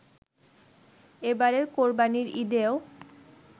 এবারের কোরবানির ঈদেও